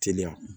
Teliya